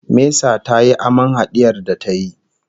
Mesa tayi aman hadiyar da ta yi